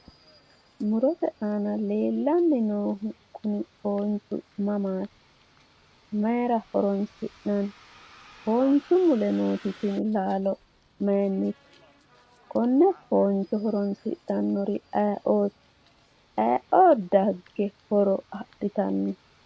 Mu'rote aana leellanni noohu kuni foonchu mamaati? maayira horoonsi'nanni? foonchu mule nooti tini laalo maayiinnite? konne fooncho horoonsidhannori ayee"ooti? ayee"oo dagge horo adhitanno?